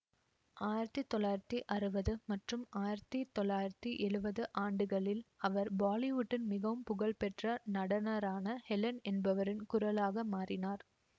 ஆயிரத்தி தொள்ளாயிரத்தி அறுவது மற்றும் ஆயிரத்தி தொள்ளாயிரத்தி எழுவது ஆண்டுகளில் அவர் பாலிவுட்டின் மிகவும் புகழ் பெற்ற நடனரான ஹெலன் என்பவரின் குரலாக மாறினார்